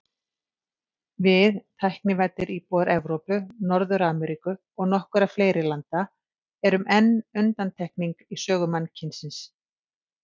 Við, tæknivæddir íbúar Evrópu, Norður-Ameríku og nokkurra fleiri landa, erum enn undantekning í sögu mannkynsins.